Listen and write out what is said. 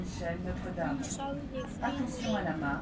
Hún sagði: Friðrik minn!